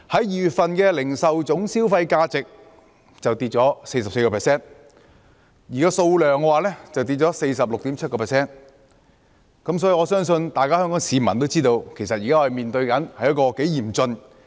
2月份的零售業銷貨價值便下跌 44%， 零售業總銷貨數量則下跌 46.7%， 所以，我相信香港市民也知道我們現時面對的情況如何嚴峻。